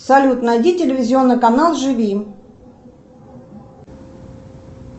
салют найди телевизионный канал живи